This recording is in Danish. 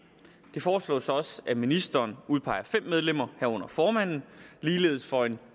foreslås også at ministeren udpeger fem medlemmer herunder formanden ligeledes for en